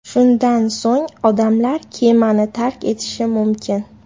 Shundan so‘ng odamlar kemani tark etishi mumkin.